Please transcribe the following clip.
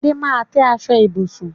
Adé máa tẹ́ aṣọ ibùsùn